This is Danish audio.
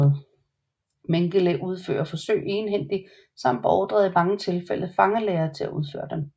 Mengele udførte forsøg egenhændigt samt beordrede i mange tilfælde fangelæger til at udføre dem